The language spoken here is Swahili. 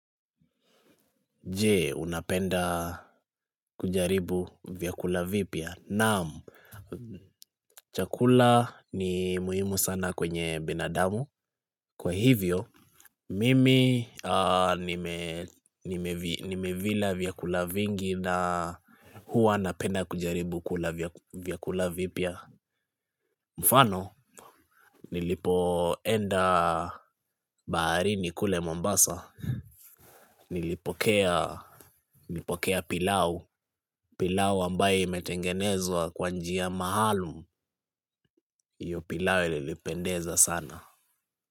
Je, unapenda kujaribu vyakula vipya? Naam, chakula ni muhimu sana kwenye binadamu. Kwa hivyo, mimi nimevila vyakula vingi na huwa napenda kujaribu kula vyakula vipia. Mfano, nilipoenda baharini kule Mombasa Nilipokea pilau. Pilao ambayo imetengenezwa kwa njia maalum, hio pilau ilipendeza sana.